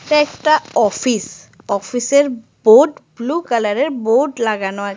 এইটা একটা অফিস অফিসের বোর্ড ব্লু কালারের বোর্ড লাগানো আছ--